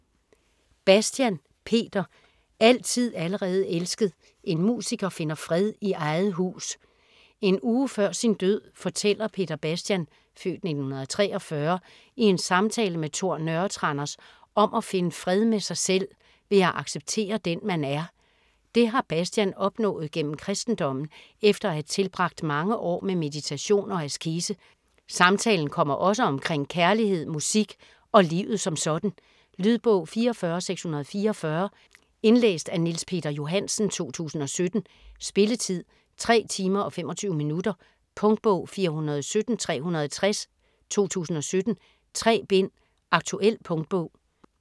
Bastian, Peter: Altid allerede elsket: en musiker finder fred i eget hus En uge før sin død fortæller Peter Bastian (f. 1943) i en samtale med Tor Nørretranders om at finde fred med sig selv ved at acceptere den man er. Det har Bastian opnået gennem kristendommen efter at have tilbragt mange år med meditation og askese. Samtalen kommer også omkring kærlighed, musik og livet som sådan. Lydbog 44644 Indlæst af Niels Peter Johansen, 2017. Spilletid: 3 timer, 25 minutter. Punktbog 417360 2017. 3 bind. Aktuel punktbog